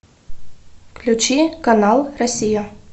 включи канал россия